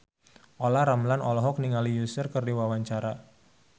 Olla Ramlan olohok ningali Usher keur diwawancara